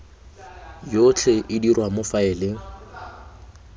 yotlhe e dirwa mo faeleng